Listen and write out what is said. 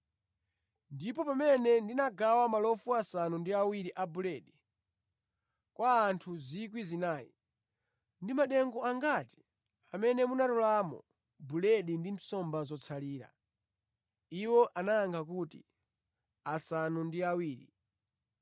“Ndipo pamene ndinagawa malofu asanu ndi awiri a buledi, kwa anthu 4,000, ndi madengu angati amene munatoleramo buledi ndi nsomba zotsalira?” Iwo anayankha kuti, “Asanu ndi awiri.”